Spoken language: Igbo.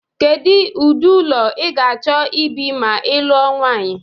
Kedu ụdị ụlọ i ga-achọ ibi ma i lụọ nwanyị?